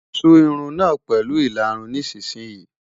Tú irun náà pẹ̀lú ìlarun nísinsìnyí!